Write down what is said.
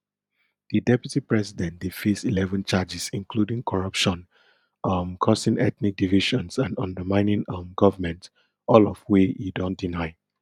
di deputy president dey face eleven charges including corruption um causing ethnic divisions and undermining um government all of wey e don deny